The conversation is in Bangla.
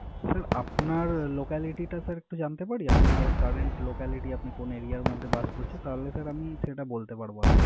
স্যার আপনার Locality টা স্যার একটু জানতে পারি? আপনার Current locality আপনি কোন Aria এর মধ্যে বাস করছেন? তাহলে স্যার আমি বলতে পারবো আপনাকে।